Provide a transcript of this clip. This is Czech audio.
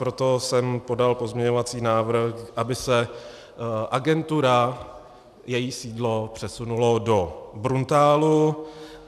Proto jsem podal pozměňovací návrh, aby se agentura, její sídlo, přesunula do Bruntálu.